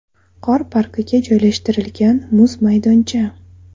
Qor parkiga joylashtirilgan muz maydoncha.